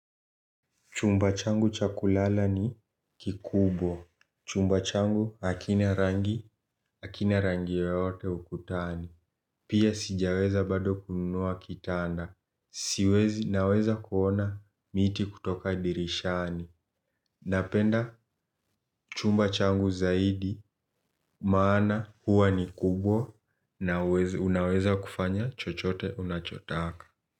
Chumbachangu chakulala ni kikubwa. Chumbachangu hakina rangi, hakina rangi yoyote ukutani. Pia sijaweza bado kununua kitanda. Siwezi naweza kuona miti kutoka dirishani. Napenda chumbachangu zaidi maana huwa ni kubwa na unaweza kufanya chochote unachotaka.